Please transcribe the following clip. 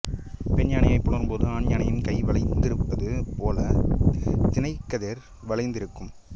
பெண்யானையைப் புணரும்போது ஆண்யானையின் கை வளைந்திருப்பது போலத் தினைக்கதிர் வளைந்திருக்கும்